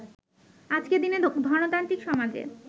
আজকের দিনে ধনতান্ত্রিক সমাজে